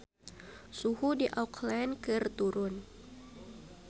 Suhu di Auckland keur turun